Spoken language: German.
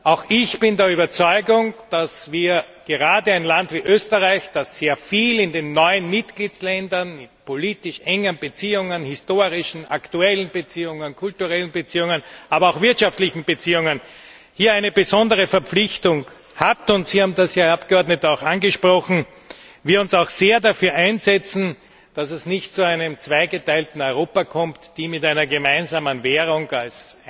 Auch ich bin der Überzeugung, dass gerade ein Land wie Österreich, das in den neuen Mitgliedstaaten mit engen politischen, historischen, aktuellen Beziehungen, kulturellen Beziehungen, aber auch wirtschaftlichen Beziehungen, eine besondere Verpflichtung hat, und dass Sie haben das, Herr Abgeordneter, auch angesprochen wir uns sehr dafür einsetzen müssen, dass es nicht zu einem zweigeteilten Europa kommt Länder mit einer gemeinsamen Währung als